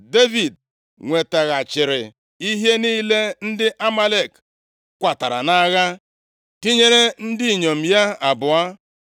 Devid nwetaghachiri ihe niile ndị Amalek kwatara nʼagha, tinyere ndị inyom ya abụọ.